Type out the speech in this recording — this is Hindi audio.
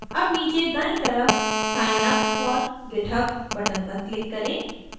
अब नीचे दायीं तरफ sign up for github button पर click करें